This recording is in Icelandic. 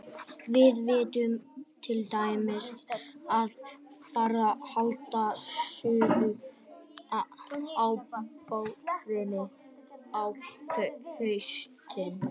Við vitum til dæmis að farfuglarnir halda suður á bóginn á haustin.